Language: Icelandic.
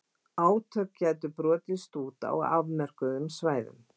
Átök gætu brotist út á afmörkuðum svæðum.